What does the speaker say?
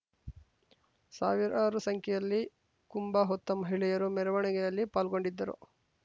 ಸಾವಿರಾರು ಸಂಖ್ಯೆಯಲ್ಲಿ ಕುಂಭ ಹೊತ್ತ ಮಹಿಳೆಯರು ಮೆರವಣಿಗೆಯಲ್ಲಿ ಪಾಲ್ಗೊಂಡಿದ್ದರು